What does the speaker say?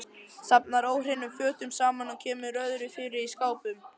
Safnar óhreinum fötum saman, kemur öðru fyrir í skápum.